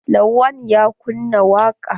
Lawan ya kunna waƙa.